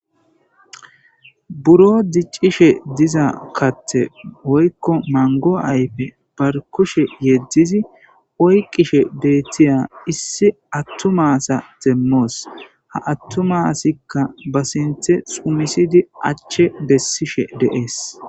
Buro diccishe diza katte woykko mango ayfe barkushe yeddizi oyqishe deetiya issi attumasa demmoos ha attumasikka ba sinthe sumisidi achche bessishe deees.